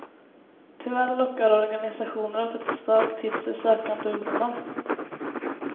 Tyvärr lockar organisationer av detta slag till sig sökande ungdomar.